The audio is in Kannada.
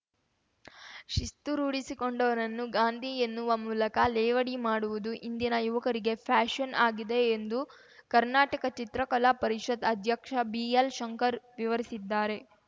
ಶಿಸ್ತು ರೂಢಿಸಿಕೊಂಡವರನ್ನು ಗಾಂಧಿ ಎನ್ನುವ ಮೂಲಕ ಲೇವಡಿ ಮಾಡುವುದು ಇಂದಿನ ಯುವಕರಿಗೆ ಫ್ಯಾಷನ್‌ ಆಗಿದೆ ಎಂದು ಕರ್ನಾಟಕ ಚಿತ್ರಕಲಾ ಪರಿಷತ್‌ ಅಧ್ಯಕ್ಷ ಬಿಎಲ್‌ ಶಂಕರ್ ವಿವರಿಸಿದ್ದಾರೆ